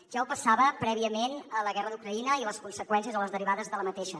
ja ho passava prèviament a la guerra d’ucraïna i a les conseqüències o les derivades d’aquesta